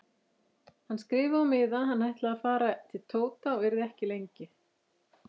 Hann skrifaði á miða að hann ætlaði að fara til Tóta og yrði ekki lengi.